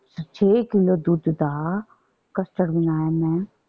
ਛੇ ਕਿੱਲੋ ਦੁੱਧ ਦਾ custard ਬਣਾਇਆ ਮੈਂ।